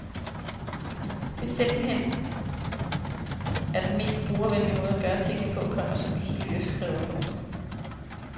Det er simpelt hen er den mest brugervenlige måde at gøre tingene på, komma som du så lyrisk skriver. punktum